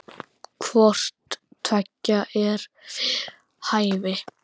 Hvort tveggja er við hæfi.